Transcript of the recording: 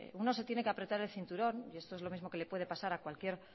uno se tiene que apretar el cinturón y esto es lo mismo que le puede pasar a cualquier